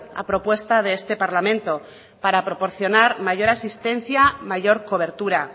a propuesta de este parlamento para proporcionar mayor asistencia mayor cobertura